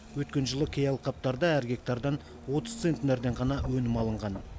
өткен жылы кей алқаптарда әр гектардан отыз центнерден ғана өнім алынған